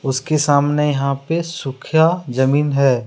उसके सामने यहा पे सुख्या जमीन है।